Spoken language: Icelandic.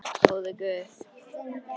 Góði Guð.